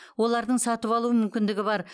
олардың сатып алу мүмкіндігі бар